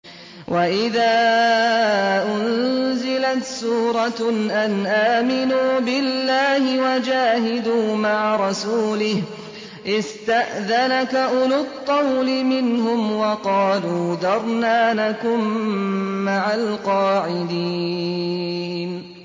وَإِذَا أُنزِلَتْ سُورَةٌ أَنْ آمِنُوا بِاللَّهِ وَجَاهِدُوا مَعَ رَسُولِهِ اسْتَأْذَنَكَ أُولُو الطَّوْلِ مِنْهُمْ وَقَالُوا ذَرْنَا نَكُن مَّعَ الْقَاعِدِينَ